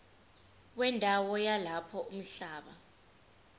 wendawo yalapho umhlaba